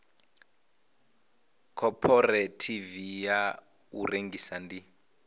khophorethivi ya u rengisa ndi